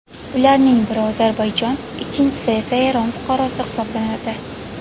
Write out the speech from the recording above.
Ularning biri Ozarbayjon, ikkinchi esa Eron fuqarosi hisoblanadi.